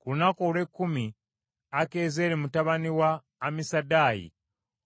Ku lunaku olw’ekkumi Akiyezeeri mutabani wa Amisadaayi,